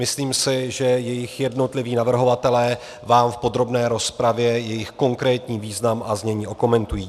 Myslím si, že jejich jednotliví navrhovatelé vám v podrobné rozpravě jejich konkrétní význam a znění okomentují.